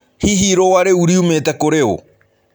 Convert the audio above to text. Hihi ĩrũa rĩũ rĩũmĩte kũrĩ ũ?